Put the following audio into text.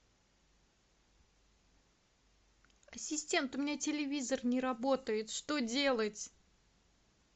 ассистент у меня телевизор не работает что делать